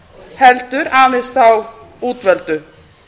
heldur aðeins þá útvöldu